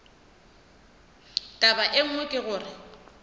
taba ye nngwe ke gore